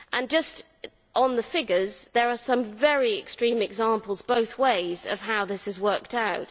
Just on the figures, there are some very extreme examples both ways of how this has worked out.